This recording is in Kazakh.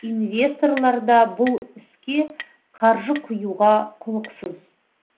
инвесторлар да бұл іске қаржы құюға құлықсыз